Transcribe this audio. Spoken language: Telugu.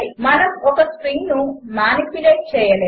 మనము ఒక స్ట్రింగ్ను మానిప్యులేట్ చేయలేము